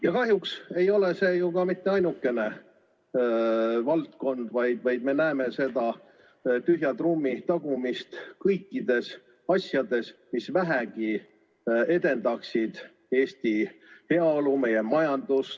Ja kahjuks ei ole see ju ka mitte ainukene valdkond, vaid me näeme seda tühja trummi tagumist kõikides asjades, mis vähegi edendaksid Eesti heaolu, meie majandust ...